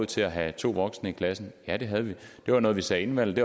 til at have to voksne i klassen ja det havde vi det var noget vi sagde inden valget